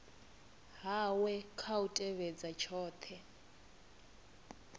hawe kha u tevhedza tshothe